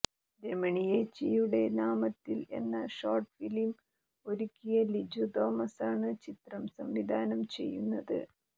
രമണിയേച്ചിയുടെ നാമത്തിൽ എന്ന short film ഒരുക്കിയ ലിജു തോമസാണ് ചിത്രം സംവിധാനം ചെയ്യുന്നത്